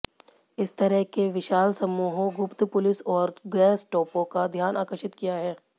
इस तरह के विशाल समूहों गुप्त पुलिस और गेस्टापो का ध्यान आकर्षित किया है